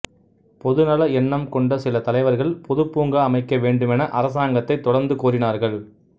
பொதுநல எண்ணம் கொண்ட சில தலைவர்கள் பொது பூங்கா அமைக்க வேண்டுமென அரசாங்கத்தை தொடர்ந்து கோரினார்கள்